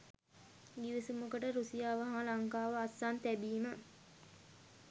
ගිවිසුමකට රුසියාව හා ලංකාව අත්සන් තැබීම